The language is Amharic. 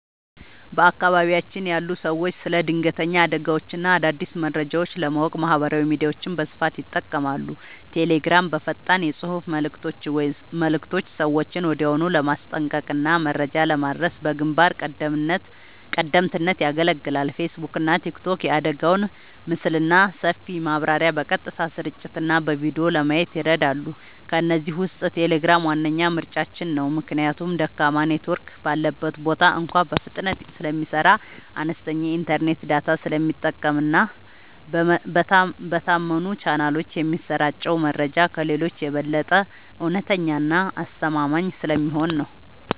በአካባቢያችን ያሉ ሰዎች ስለ ድንገተኛ አደጋዎችና አዳዲስ መረጃዎች ለማወቅ ማህበራዊ ሚዲያዎችን በስፋት ይጠቀማሉ። ቴሌግራም፦ በፈጣን የፅሁፍ መልዕክቶች ሰዎችን ወዲያውኑ ለማስጠንቀቅና መረጃ ለማድረስ በግንባር ቀደምትነት ያገለግላል። ፌስቡክና ቲክቶክ፦ የአደጋውን ምስልና ሰፊ ማብራሪያ በቀጥታ ስርጭትና በቪዲዮ ለማየት ይረዳሉ። ከእነዚህ ውስጥ ቴሌግራም ዋነኛ ምርጫችን ነው። ምክንያቱም ደካማ ኔትወርክ ባለበት ቦታ እንኳ በፍጥነት ስለሚሰራ፣ አነስተኛ የኢንተርኔት ዳታ ስለሚጠቀምና በታመኑ ቻናሎች የሚሰራጨው መረጃ ከሌሎቹ የበለጠ እውነተኛና አስተማማኝ ስለሚሆን ነው።